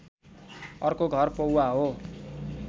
अर्को घर पौवा हो